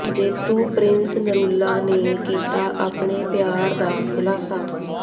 ਜੇਤੂ ਪ੍ਰਿੰਸ ਨਰੂਲਾ ਨੇ ਕੀਤਾ ਆਪਣੇ ਪਿਆਰ ਦਾ ਖੁਲਾਸਾ